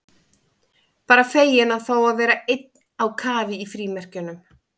Bara feginn að fá að vera einn á kafi í frímerkjunum.